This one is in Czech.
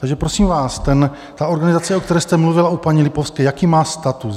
Takže prosím vás, ta organizace, o které jste mluvila u paní Lipovské, jaký má status?